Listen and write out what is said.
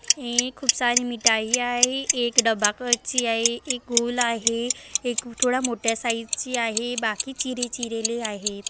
ही खूप सारी मिठाई आहे एक डबाकची आहे एक गोल आहे एक थोडा मोठ्या साइज ची आहे बाकी चिरे चिरेली आहे.